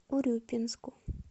урюпинску